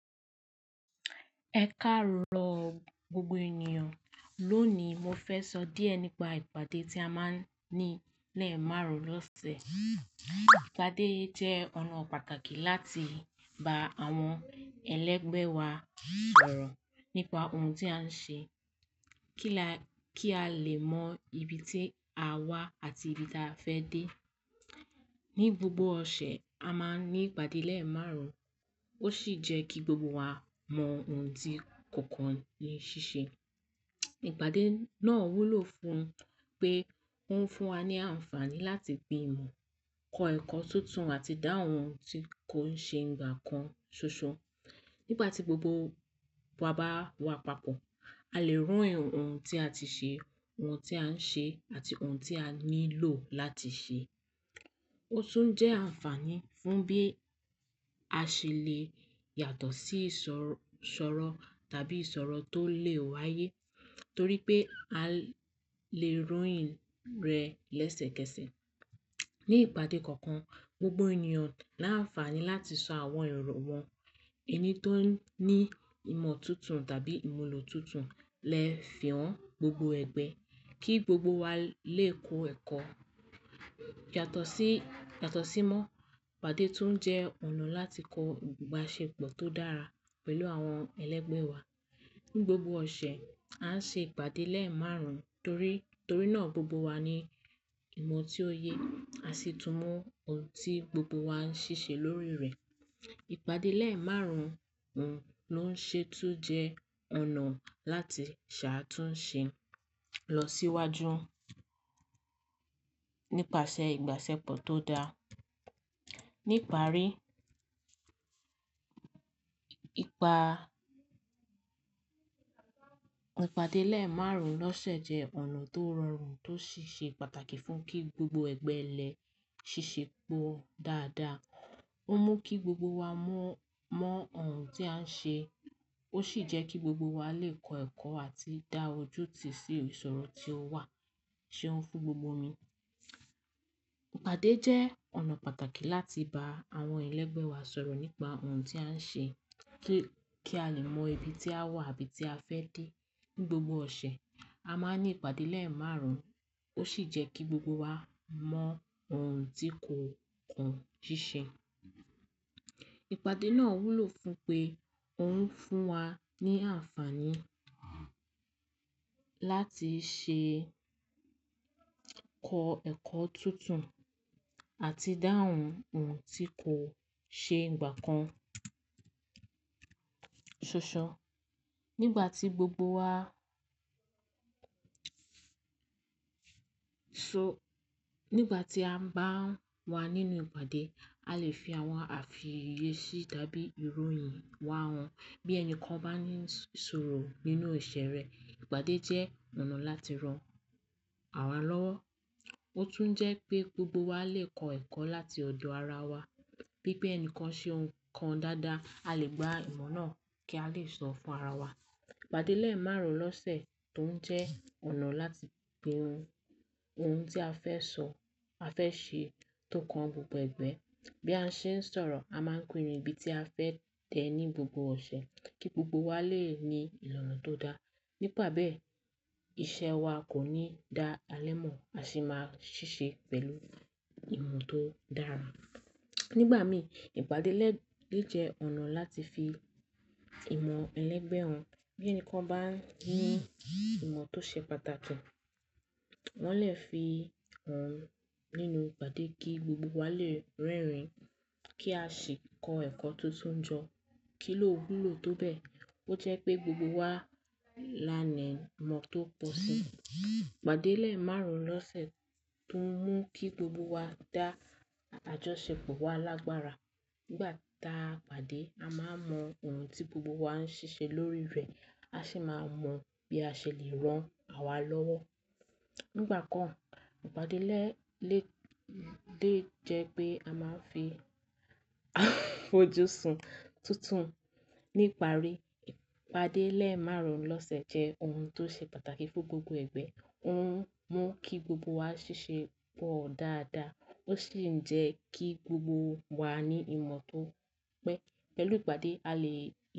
Ẹ káàró gbogbo ènìyàn. Lónìí, mo fẹ́ sọ díẹ̀ nípa ìpàdé tí a máa ń ní lẹ́ẹ̀ márùn-ún lọ́sẹ̀. Ìpàdé yi jẹ́ ọ̀nà pàtàkì láti bá àwọn ẹlẹ́gbẹ́ wa sọ̀rọ̀ nípa ohun tí a ń ṣe kí alẹ́ mọ ibi tí a wà àti ibi tí a fẹ́ dé. Ni gbogbo ọ̀sẹ̀, a máa ní ìpàdé lẹ́ẹ̀ márùn-ún, ó sì jẹ́ kí gbogbo wa mọ ohun tí kọ̀ọ̀kan ń ṣiṣẹ́. Ìpàdé náà wúlò fún pé ó ń fún wa ní àǹfààní láti gbiìmọ̀, kọ ẹ̀kọ́ tuntun àti dáhùn ohun tí kò ń ṣe gbà kan ṣoṣo. Nígbà tí gbogbo wa bá wá papọ̀, a lè rí ohun tí a ti ṣe, ohun tí a ń ṣe àti ohun tí a nílò láti ṣe. Ó tún jẹ́ àǹfààní fún bí a ṣe lè yàtọ̀ sí ìsọ̀rọ̀ tàbí ìṣòro tó lè wáyé torí pé a lè ròyìn rẹ̀ lẹ́sẹ̀kẹsẹ̀. Ni ìpàdé kọ̀ọ̀kan, gbogbo ènìyàn láǹfààní láti sọ àwọn èrò wọn. Ẹni tó ní ìmọ̀ tuntun tàbí ìmúlò tuntun lè fi hàn gbogbo ẹgbẹ́ kí gbogbo wa lè kọ́ ẹ̀kọ́. Yàtọ̀ sí, yàtọ̀ sí mọ́, ìpàdé tún jẹ́ ọ̀nà láti kọ ìbáṣepọ̀ tó dára pẹ̀lú àwọn ẹlẹ́gbẹ́ wa. Ni gbogbo ọ̀sẹ̀, a ń ṣe ìpàdé lẹ́ẹ̀ márùn-ún torí, torí náà gbogbo wa ní ìmọ̀ tí ó yẹ, a sì túmọ̀ ohun tí gbogbo wa ń ṣiṣẹ́ lórí rẹ̀. Ìpàdé lẹ́ẹ̀ márùn-ún ló ń ṣe túń jẹ́ ọ̀nà láti ṣàtúnṣe lọ síwájú nípasẹ̀ ìbáṣepọ̀ tó dáa. Níparí, ìpàdé lẹ́ẹ̀ márùn-ún lọ́sẹ̀ jẹ́ ọ̀nà tó rọrùn tó sì ṣe pàtàkì fún kí gbogbo ẹgbẹ́ le ṣiṣẹ́ pọ̀ dáadáa. Ó mú kí gbogbo wa mọ, mọ ohun tí a ń ṣe, ó sì jẹ́ kí gbogbo wa lè kọ ẹ̀kọ́ àti dá ojú ú tí sí ìṣòro tí ó wà. Ṣé ó ń fún gbogbo mi? Ìpàdé jẹ́ ọ̀nà pàtàkì láti bá àwọn ẹlẹ́gbẹ́ wa sọ̀rọ̀ nípa ohun tí a ń ṣe kí a lè mọ ibi tí a wà àbí tí a fẹ́ dé. Ni gbogbo ọ̀sẹ̀, a máa ń ní ìpàdé lẹ́ẹ̀ márùn-ún, ó sì jẹ́ kí gbogbo wa mọ ohun tí kọ̀ọ̀kan ń ṣiṣẹ́. Ìpàdé náà wúlò fún pé ó ń fún wa ní àǹfààní láti ṣe kọ ẹ̀kọ́ tuntun ati idáhùn ohun tí kò ṣe gbà kan ṣoṣo. Nígbà tí gbogbo wa-- so-- nígbà tí a ń bá wà nínú ìpàdé, a lè fi àwọn àfiyèsí tàbí ìròyìn wa hàn. Bí ẹni kan bá ní ìṣòro nínú ìṣe rẹ̀, ìpàdé jẹ́ ọ̀nà láti ran ara wa lọ́wọ́. Ó tún jẹ́ pé gbogbo wa lè kọ ẹ̀kọ́ láti ọ̀dọ̀ ara wa. Bípé ẹni kan ṣe ohun kan dáadáa, a lè gba ìmọ̀ náà kí a lè sọ fún ara wa. Ìpàdé lẹ́ẹ̀ márùn-ún lọ́sẹ̀ tún jẹ́ ọ̀nà láti pinnu ohun, ohun tí a fẹ́ sọ, a fẹ́ ṣe tó kan gbogbo ẹgbẹ́. Bí a ṣe ń sọ̀rọ̀, a máa ń pinnu ibi tí a fẹ́ dé ní gbogbo ọ̀sẹ̀ kí gbogbo wa lè ní ìlànà tó dá. Nípa bẹ́ẹ̀, iṣẹ́ wa kò ní di alẹ́ mọ́, a sì máa ṣiṣẹ́ pẹ̀lú ìmọ̀ tó dára. Nígbà mí, ìpàdé le jẹ́ ọ̀nà láti fi ìmọ̀ ẹlẹ́gbẹ́ hàn. Bí ẹni kan bá ní ìmọ̀ tó ṣe pàtàkì, wọ́n lè fi hàn nínú ìpàdé kí gbogbo wa lè rerin kí a sì kọ ẹ̀kọ́ tuntun jọ. Kí ló wúlò tó bẹ́ẹ̀? Ó jẹ́ pé gbogbo wa lá ni ìmọ̀ tó pọ̀ sí i. Ìpàdé lẹ́ẹ̀ márùn-ún lọ́sẹ̀ tún mú kí gbogbo wa dá àjọṣepọ̀ wa lágbára. Nígbà tí a pàdé, a máa mọ ohun tí gbogbo wa ń ṣiṣẹ́ lórí rẹ̀, a sì máa mọ bí a ṣe lè ran ara wa lọ́wọ́. Nígbà kan, ìpàdé lè jẹ́ pé a máa ń fi fojú sun tuntun. Níparí, ìpàdé lẹ́ẹ̀ márùn-ún lọ́sẹ̀ jẹ́ ohun tó ṣe pàtàkì fún gbogbo ẹgbẹ́. Ó ń mú kí gbogbo wa ṣiṣẹ́ pọ̀ dáadáa, ó sì ń jẹ́ kí gbogbo wa ní ìmọ̀ tó pé. Pẹ̀lú ìpàdé, a lè.